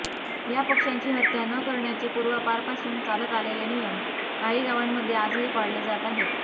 या पक्षांची हत्या न करण्याचे पूर्वापारपासून चालत आलेले नियम काही गावांमध्ये आजही पाळले जात आहेत